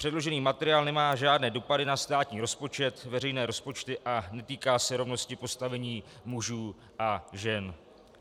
Předložený materiál nemá žádné dopady na státní rozpočet, veřejné rozpočty a netýká se rovnosti postavení mužů a žen.